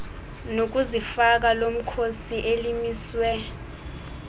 nokuzifaka lomkhosi elimiswe